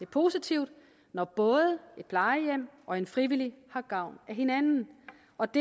positivt når både et plejehjem og en frivillig har gavn af hinanden og det